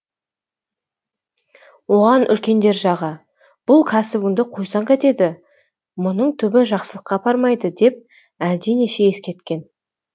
оған үлкендер жағы бұл кәсібіңді қойсаң қайтеді мұның түбі жақсылыққа апармайды деп әлденеше ескерткен